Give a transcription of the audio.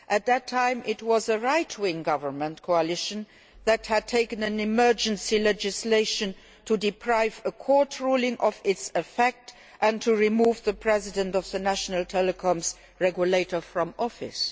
At that time a right wing government coalition had introduced emergency legislation to deprive a court ruling of its effect and to remove the president of the national telecoms regulator from office.